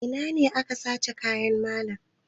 A ina ne aka sace kayan malam?